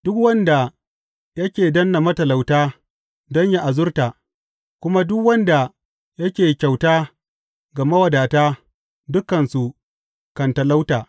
Duk wanda yake danne matalauta don yă azurta kuma duk wanda yake kyauta ga mawadata, dukansu kan talauta.